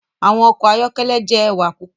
Awọn ọkọ ayọkẹlẹ jẹ ẹwa pupọ